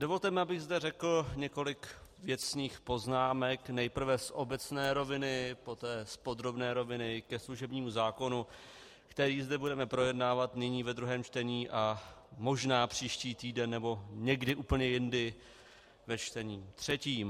Dovolte mi, abych zde řekl několik věcných poznámek nejprve z obecné roviny, poté z podrobné roviny ke služebnímu zákonu, který zde budeme projednávat nyní ve druhém čtení a možná příští týden nebo někdy úplně jindy ve čtení třetím.